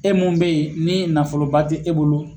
E mun bɛ ye ni nafoloba tɛ e bolo.